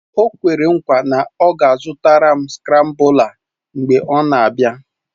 O kwere nkwa na ọ ga-azụtara m skrambụla mgbe ọ na-abịa